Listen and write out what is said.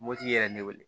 Mopti yɛrɛ ne wele